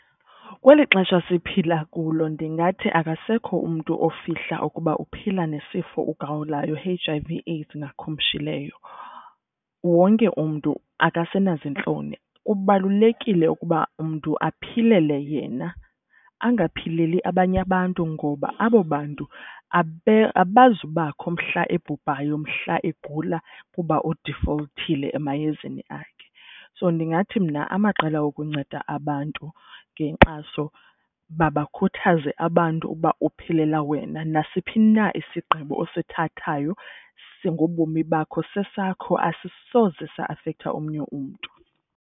Kweli xesha siphila kulo ndingathi akasekho umntu ofihla ukuba uphila nesifo ugawulayo i-H_I_V AIDS ngakhumshileyo. Wonke umntu akasenaziintloni kubalulekile ukuba umntu aphilele yena angaphileli abanye abantu. Ngoba abo bantu abazubakho mhla ebhubhayo mhla egula kuba udifolthile emayezeni akhe. So ndingathi mna amaqela wokunceda abantu ngenkxaso mabakhuthaze abantu uba uphilela wena nasiphi na isigqibo osithathayo ngobomi bakho sesakho asisoze sa afektha omnye umntu.